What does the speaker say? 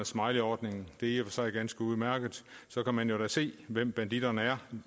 smileyordningen det er sig ganske udmærket så kan man jo da se hvem banditterne er